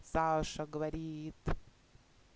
саша говорит